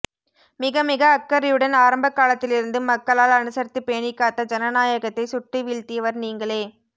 மிக மிக அக்கறையுடன் ஆரம்பகாலத்திலிருந்து மக்களால் அனுசரித்து பேணிக்காத்த ஜனநாயகத்தை சுட்டு விழுத்தியவர் நீங்களே